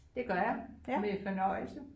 Det gør jeg med fornøjelse